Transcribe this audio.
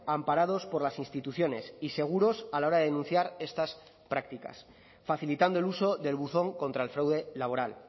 amparados por las instituciones y seguros a la hora de denunciar estas prácticas facilitando el uso del buzón contra el fraude laboral